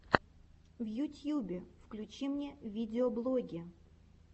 в ютьюбе включи мне видеоблоги